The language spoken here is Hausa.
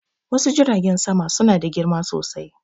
Wasu Jiragen sama suna da girma sosai.